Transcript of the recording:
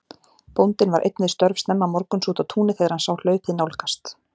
Bóndinn var einn við störf snemma morguns úti á túni þegar hann sá hlaupið nálgast.